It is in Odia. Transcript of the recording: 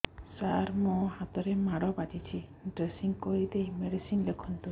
ସାର ମୋ ହାତରେ ମାଡ଼ ବାଜିଛି ଡ୍ରେସିଂ କରିଦେଇ ମେଡିସିନ ଲେଖନ୍ତୁ